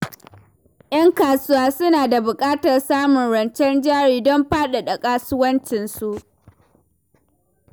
‘Yan kasuwa suna da buƙatar samun rancen jari don faɗaɗa kasuwancinsu.